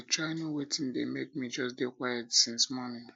i dey try know wetin um dey make me just dey quiet since morning